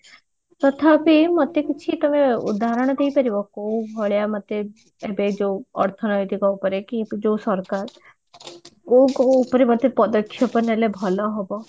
ତଥାବି ମତେ କିଛି ତମେ ଉଦାହରଣ କହି ପାରିବ କୋଉ ଭଳିଆ ମତେ ଏବେ ଯୋଉ ଅର୍ଥନୈତିକ ଉପରେ କି ଯୋଉ ସରକାର କୋଉ କୋଉ ଥିରେ ମତେ ପଦକ୍ଷେପ ନେଲେ ଭଲ ହବ